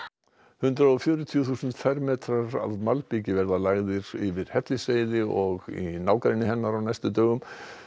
hundrað og fjörutíu þúsund fermetrar af malbiki verða lagðir yfir Hellisheiði og í nágrenni hennar á næstu dögum